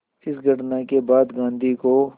इस घटना के बाद गांधी को